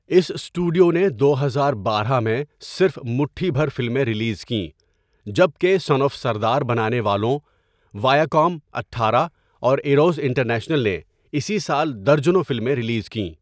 اس studio نے دو ہزار بارہ میں صرف مٹھی بھر فلمیں ریلیز کیں جب کہ سن آف سردار بنانے والوں، ویاکام اٹھارہ اور ایروس انٹرنیشنل نے اسی سال درجنوں فلمیں ریلیز کیں۔